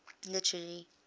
literary